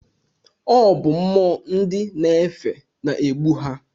Ọ bụ mmụọ nd na-efe na-egbu ha.